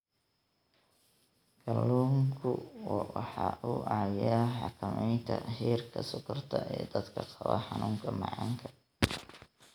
Kalluunku waxa uu caawiyaa xakamaynta heerka sonkorta ee dadka qaba xanuunka macaanka.